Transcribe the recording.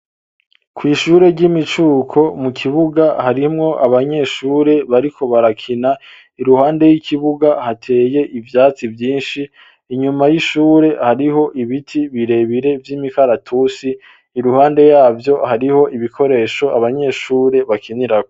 Kw'ishure ry'imicuko mu kibuga harimwo abanyeshure bariko barakina iruhande y'ikibuga hateye ivyatsi vyinshi inyuma y'ishure hariho ibiti birebire vy'imikaratusi iruhande yabyo hariho ibikoresho abanyeshure bakiniraho.